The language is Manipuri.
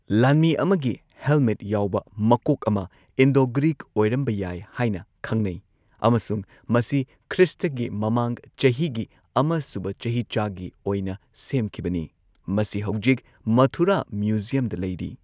ꯂꯥꯟꯃꯤ ꯑꯃꯒꯤ ꯍꯦꯜꯃꯦꯠ ꯌꯥꯎꯕ ꯃꯀꯣꯛ ꯑꯃ, ꯏꯟꯗꯣ ꯒ꯭ꯔꯤꯛ ꯑꯣꯏꯔꯝꯕ ꯌꯥꯏ ꯍꯥꯏꯅ ꯈꯪꯅꯩ, ꯑꯃꯁꯨꯡ ꯃꯁꯤ ꯈ꯭ꯔꯤꯁꯇꯒꯤ ꯃꯃꯥꯡ ꯆꯍꯤꯒꯤ ꯑꯃꯁꯨꯕ ꯆꯍꯤꯆꯥꯒꯤ ꯑꯣꯏꯅ ꯁꯦꯝꯈꯤꯕꯅꯤ, ꯃꯁꯤ ꯍꯧꯖꯤꯛ ꯃꯊꯨꯔꯥ ꯃ꯭ꯌꯨꯖꯤꯌꯝꯗ ꯂꯩꯔꯤ꯫